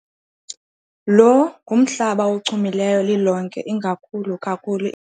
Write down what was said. Lo ngumhlaba ochumileyo, lilonke ingakhulu kakhulu.